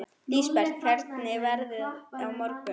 Lísebet, hvernig er veðrið á morgun?